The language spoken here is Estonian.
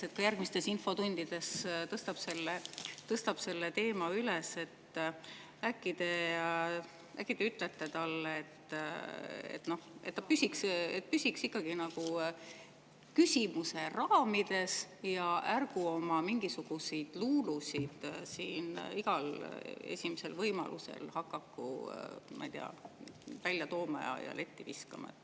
Kui ta ka järgmistes infotundides tõstab selle teema üles, äkki te siis ütlete talle, et ta püsiks küsimuse raamides ja ärgu oma mingisuguseid luulusid siin igal esimesel võimalusel hakaku välja tooma ja letti viskama.